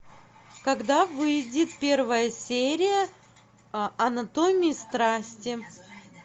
когда выйдет первая серия анатомии страсти